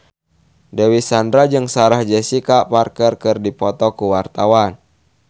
Dewi Sandra jeung Sarah Jessica Parker keur dipoto ku wartawan